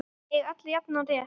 Eiga allir jafnan rétt?